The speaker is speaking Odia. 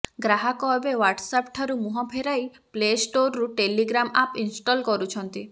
ଗ୍ରାହକ ଏବେ ହ୍ୱାଟ୍ସଆପ ଠାରୁ ମୁହଁ ଫେରାଇ ପ୍ଲେଷ୍ଟୋର୍ରୁ ଟେଲିଗ୍ରାମ ଆପ୍ ଇନ୍ଷ୍ଟଲ କରୁଛନ୍ତି